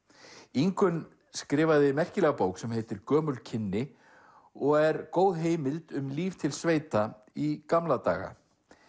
Ingunn skrifaði merkilega bók sem heitir gömul kynni og er góð heimild um líf til sveita í gamla daga